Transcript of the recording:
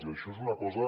i això és una cosa